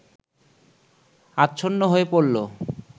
আচ্ছন্ন হয়ে পড়ল